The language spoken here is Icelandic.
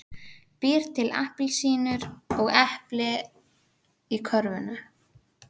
Býr til appelsínur og epli í körfuna.